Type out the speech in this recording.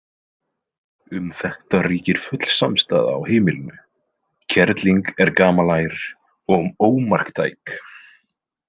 Um þetta ríkir full samstaða á heimilinu: kerling er gamalær og ómarktæk.